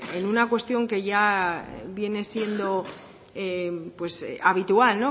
en una cuestión que ya viene siendo pues habitual